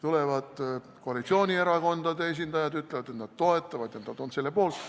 Tulevad koalitsioonierakondade esindajad ja ütlevad, et nad toetavad seda, nad on selle poolt.